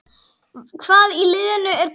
Hvað í liðinu er gott?